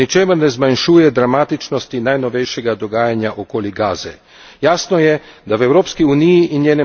Jasno je, da v Evropski uniji in njenem parlamentu ob dogodkih v Gazi in Izraelu ne moremo molčati.